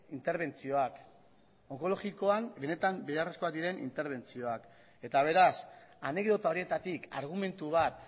interbentzioak direla onkologikoan benetan beharrezkoak diren interbentzioak eta beraz anekdota horietatik argumentu bat